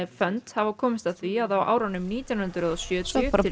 fund hafa komist að því að á árunum nítján hundruð og sjötíu til